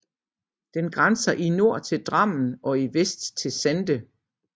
Den grænser i nord til Drammen og i vest til Sande